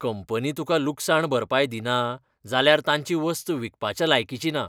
Company तुका लुकसाण भरपाय दिना जाल्यार तांची वस्त विकपाच्या लायकीची ना.